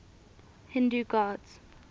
hindu gods